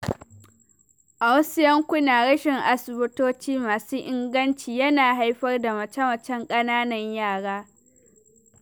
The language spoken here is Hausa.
A wasu yankuna, rashin asibitoci masu inganci yana haifar da mace-macen ƙananan yara.